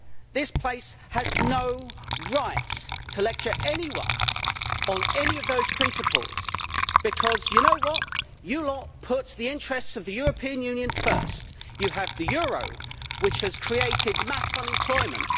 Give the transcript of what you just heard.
This place has no right to lecture anyone on any of those principles, because you lot put the interests of the European Union first. You have the euro, which has created mass unemployment.